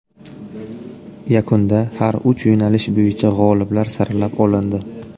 Yakunda har uch yo‘nalish bo‘yicha g‘oliblar saralab olindi.